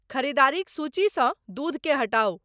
ख़रीदारीक सूचीसँ दूध के हटाऊ